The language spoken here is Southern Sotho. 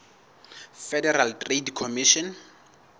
federal trade commission